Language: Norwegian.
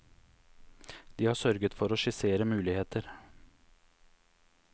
De har sørget for å skissere muligheter.